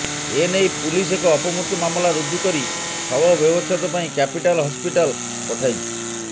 ଏ ନେଇ ପୁଲିସ ଏକ ଅପମୃତ୍ୟୁ ମାମଲା ରୁଜୁ କରି ଶବ ବ୍ୟବଚ୍ଛେଦ ପାଇଁ କ୍ୟାପିଟାଲ୍ ହସ୍ପିଟାଲ୍ ପଠାଇଛି